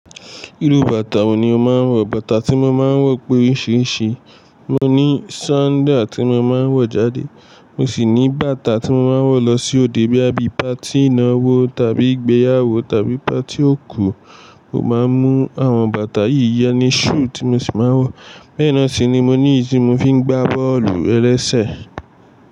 Irú bàtà wo ni ó máa ń wọ̀? Bàtà tí mo máa ń wọ̀ pé oríṣiríṣi, mo ní sandal tí mo máa ń wọ̀ jáde, mo sì ní bàtà tí mo máa ń wọ̀ lọ sí òde bóyá bí party ìnáwó tàbí ìgbéyàwó tàbí party òkú. Mo máa ń mú àwọn bàtà yìí ìyẹn ni shoe tí mo sì máa ń wọ̀. Bẹ́ẹ̀ náà sì ni mo ní tí mo fi ń gbá bọ́ọ̀lù-ẹlẹ́sẹ̀.